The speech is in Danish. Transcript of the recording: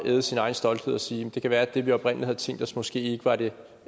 æde sin egen stolthed og sige det kan være at det vi oprindelig havde tænkt os måske ikke var det